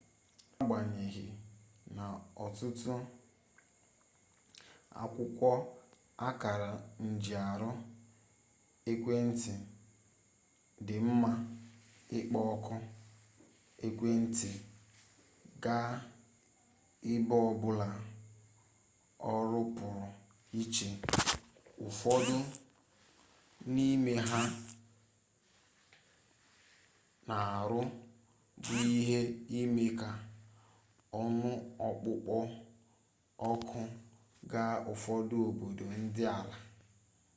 n'agbanyeghị na ọtụtụ akwụkwọ akara njiarụ ekwentị dị mma ịkpọ oku ekwentị gaa ebe ọbụla ọrụ pụrụ iche ụfọdụ n'ime ha na-arụ bụ ime ka ọnụ ọkpụkpọ oku gaa ụfọdụ obodo dị ala